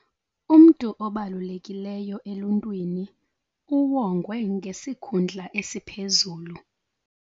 Umntu obalulekileyo eluntwini uwongwe ngesikhundla esiphezulu.